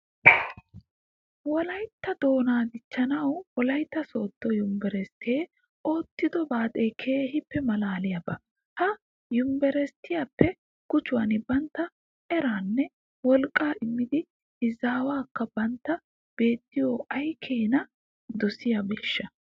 Wolayttatto doonaa dichchanawu wolaytta sooddo yunveresttee oottido baaxee keehippe maalaaliyaba. Ha yunveresttiyappe gujuwan bantta eraanne wolqqaa immida izaawatikka bantta biittiyo ay keena dosiyonaashsha!